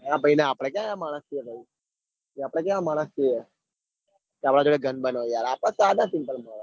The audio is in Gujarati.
આ ભાઈ ને આપડે માણસ છીએ આપડે ક્યાં માણસ છીએ તે આપડા જોડે ગણ બન આપદ તો સદા સિમ્પલ માણહ.